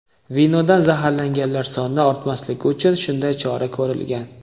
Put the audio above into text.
Vinodan zaharlanganlar soni ortmasligi uchun shunday chora ko‘rilgan.